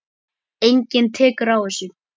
Enginn tekur á þessu.